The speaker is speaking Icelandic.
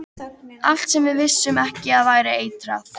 Allt sem við vissum ekki að væri eitrað.